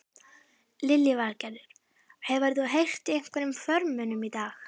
Lillý Valgerður: Hefur þú heyrt í einhverjum formönnum í dag?